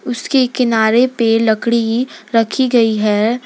उसके किनारे पे लकड़ी रखी गई है।